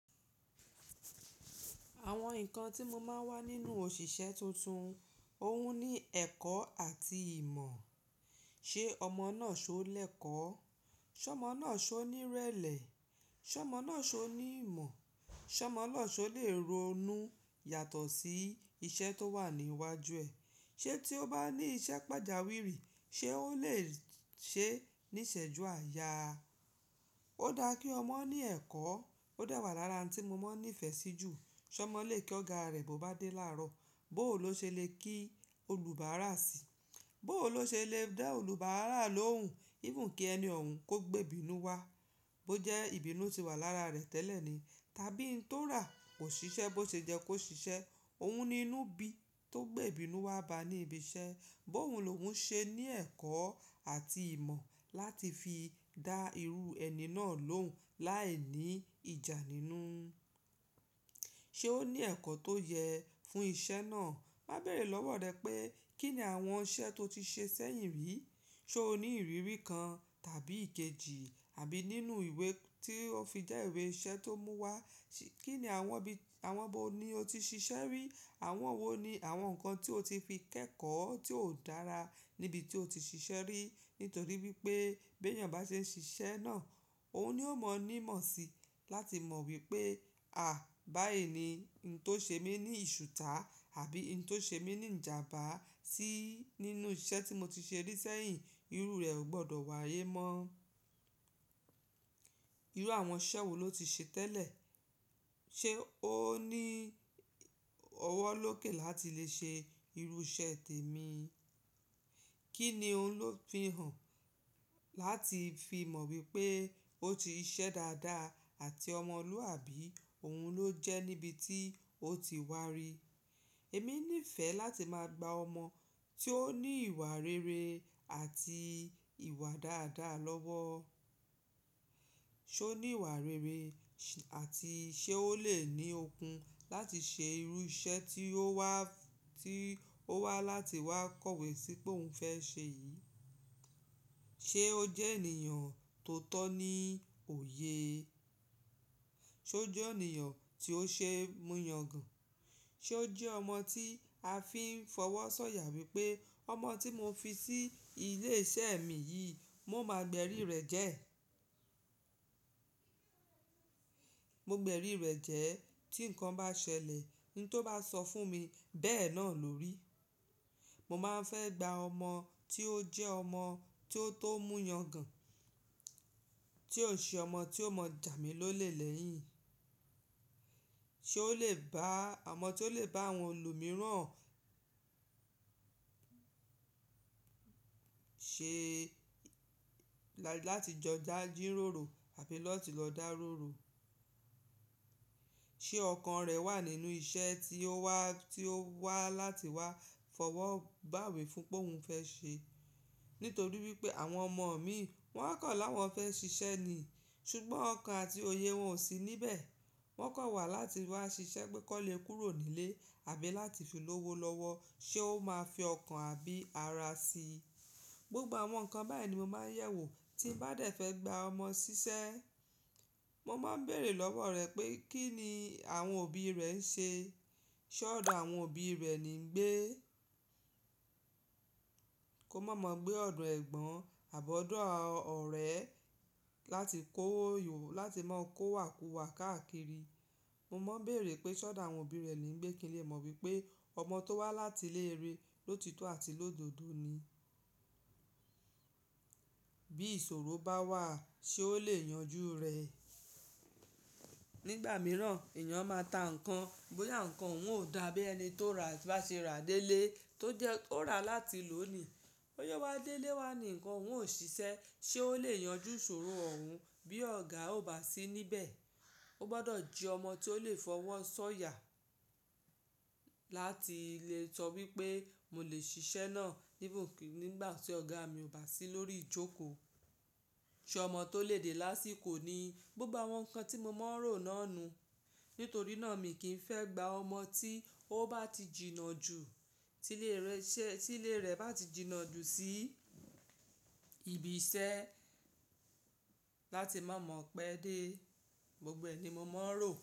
Àwọn nǹkan tí mo máa ń wá nínú òṣìṣẹ́ tuntun, òun ní ẹ̀kọ́ àti ìmọ̀. Ṣé ọmọ náà ṣọ lẹkọ́? Ṣé ọmọ náà ṣọ ní rẹlẹ? Ṣé ọmọ náà ṣọ ní ìmọ̀? Ṣé ọmọ náà ṣọ lè ronú yàtọ̀ sí iṣẹ́ tó wà ní iwájú ẹ̀? Ṣé tí ó bá ní iṣẹ́ pàjáwìrì, ṣe ó lè ṣe níṣẹ́ ju àyà? Ó dá kí ọmọ ní ẹ̀kọ́. Ó dà wà lára ohun tí mo mọ ní ìfẹ́ sí jù. Ṣé ọmọ lè kí ọ̀gá rẹ̀ bó bá dé láàárọ̀? Bó ò lọ ṣe lè kí olùbáárà síi. Bó ò lọ ṣe lè dá olùbáárà lóhùn, even kí ẹni ọ̀run kó gbe ìbínú wá, bó jẹ́ ìbínú ti wà lára rẹ̀ tẹ́lẹ̀ ni. Tàbí n tó rà kò ṣiṣẹ́, bó ṣe jẹ kó ṣiṣẹ́, òun ni inú bí tó gbe ìbínú wa bá ní ibi iṣẹ́. Bó òun ló ń ṣe ní ẹ̀kọ́ àti ìmọ̀ láti fi dá irú ẹni náà lóhùn láìní ìjà nínú. Ṣé ó ní ẹ̀kọ́ tó yẹ fún iṣẹ́ náà? Máa bèrè lọ́wọ́ rẹ pé kí ni àwọn iṣẹ́ tó ti ṣe sẹ́yìn rí. Ṣé o ní ìrírí kan tàbí ìkejì àbí nínú ìwé tí ó fi jẹ́ ìwé iṣẹ́ tó mú wá. Kí ni àwọn ibi, àwọn bó ni o ti ṣiṣẹ́ rí. Àwọn wo ni àwọn ǹkan tí o ti fi kẹ́kọ̀ọ́ tí ó dára níbi tí o ti ṣiṣẹ́ rí. Nítorí wípé bí èèyàn bá ṣe ń ṣiṣẹ́ náà, òun ni ó mọ̀ ní mọ̀ síi láti mọ̀ wípé, à, báyìí ni n tó ṣe mí ní ìṣùta àbí n tó ṣe mí ní ìjàmbá sí nínú iṣẹ́ tí mo ti ṣe rí sẹ́yìn. Irú rẹ̀ ò gbọdọ̀ wáyé mọ́. Irú àwọn iṣẹ́ wo lo ti ṣe tẹ́lẹ̀? Ṣé ó ní ọwọ́ lóké làti lè ṣe irú iṣẹ́ tèmi? Kí ni òun lò fi hàn láti fi mọ̀ wípé ó ti ṣiṣẹ́ dáadáa àti ọmọlúwàbí òun ló jẹ́ níbi tí ó ti wá rí. Èmi nífẹ̀ẹ́ láti máa gba ọmọ tí ó ní ìwà rere àti ìwà dáadáa lọ́wọ́. Ṣé ó ní ìwà rere àti ṣé ó lè ní okun láti ṣe irú iṣẹ́ tí ó wá, tí ó wá láti wá kọ̀wé sí pé òun fẹ́ ṣe yìí? Ṣé ó jẹ́ ènìyàn tó tọ́ ní òye? Ṣé ó jẹ́ ènìyàn tí ó ṣe mú yangàn? Ṣé ó jẹ́ ọmọ tí a fi ń fọwọ́ sọ̀yà wípé ọmọ tí mo fi sí ilé iṣẹ́ mi yìí, mo máa gbẹ̀rí rẹ̀ jẹ́? Mo gbẹ̀rí rẹ̀ jẹ́ tí ǹkan bá ṣẹlẹ̀, n tó bá sọ fún mi bẹ́ẹ̀ náà lò ri. Mo máa ń fẹ́ gba ọmọ tí ó jẹ́ ọmọ tí ó tó mú yangàn, tí ò ṣe ọmọ tí ó mọ̀ jàmí ló lè lẹ́yìn. Ṣé ó lè bá ọmọ tí ó lè bá àwọn olù mìíràn ṣe láti jọ dà jíróró àbí lọ́ ti lọ dà rúru. Ṣé ọkàn rẹ̀ wà nínú iṣẹ́ tí ó wá, tí ó wá láti wá fọwọ́ gbàwé fún pé òun fẹ́ ṣe. Nítorí wípé àwọn ọmọ mi wọ́n kọ̀ láwọn fẹ́ ṣiṣẹ́ ni, ṣùgbọ́n ọkàn àti òye wọn ò sí níbẹ̀. Wọ́n kọ̀ wà láti wá ṣiṣẹ́ pe kọ́lé kúrò nílé àbí láti fi lówó lọ́wọ́. Ṣé ó máa fi ọkàn àbí ara síi? Gbogbo àwọn ǹkan báyìí ni mo máa ń yẹ̀wò tí bá dẹ̀ fẹ́ gba ọmọ ṣiṣẹ́. Mo máa ń bèrè lọ́wọ́ rẹ pé kí ni àwọn òbí rẹ ń ṣe. Ṣé ọ̀dọ̀ àwọn òbí rẹ ni ń gbé? Kò mọ̀ mọ̀ gbé ọ̀dọ̀ ẹ̀gbọ́n àbọ̀ ọ̀dọ̀ ọ̀rẹ́ láti kóyò láti máa kó wàkúwà káàkiri. Mo máa ń bèrè pé ṣọ́dọ̀ àwọn òbí rẹ ni ń gbé kí n lè mọ̀ wípé ọmọ tó wá láti léèrè ló títú àti lọ́dọ̀dọ́ ni. Bí ìṣòro bá wà ṣé ó lè yanjú rẹ̀? Nígbà mìíràn èèyàn máa ta ǹkan, bóyá ǹkan òún ò dá bí ẹni tó rà bá ṣe rà délé tó jẹ́ ó rà láti lónìí. Ó yọ wá délé wá ní ǹkan òún ò ṣiṣẹ́ ṣé ó lè yanjú ìṣòro òun bí ọ̀gá ò bá sí níbẹ̀. Ó gbọdọ̀ jẹ́ ọmọ tí ó lè fọwọ́ sọ̀yà láti lè sọ wípé mo lè ṣiṣẹ́ náà níbà tí ọ̀gá mi ò bá sí lórí ìjókòó. Ṣé ọmọ tó lè dé lásìkò ní gbogbo àwọn ǹkan tí mo mọ́ rò náà nu? Nítorí náà mi kì í fẹ́ gba ọmọ tí ó bá ti jìnnà jù, tí ilé rẹ̀ bá ti jìnnà jù sí ibi iṣẹ́ láti má mọ̀ pẹ́ dé. Gbogbo ẹ ni mo mọ́ rò.